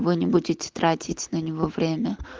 вы не будете тратить на него время